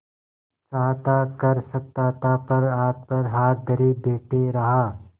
चाहता कर सकता था पर हाथ पर हाथ धरे बैठे रहा